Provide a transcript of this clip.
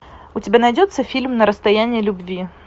у тебя найдется фильм на расстоянии любви